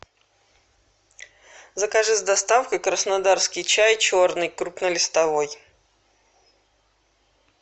закажи с доставкой краснодарский чай черный крупнолистовой